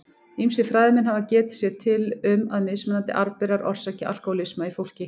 Ýmsir fræðimenn hafa getið sér til um að mismunandi arfberar orsaki alkóhólisma í fólki.